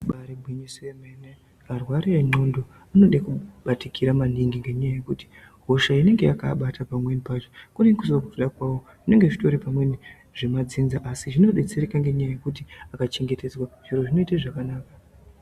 Ibari gwinyiso yemene arwari endxondo anoda kubatikira maningi ngenyaya yekuti hosha inenge yakaabata pamweni pacho kunenge kusiri kuda kwawo zvinenge zvitori pamweni zvemadzinza asi zvinodetsereka ngenyaya yekuti akachengetedzwa zviro zvinoite zvakanaka.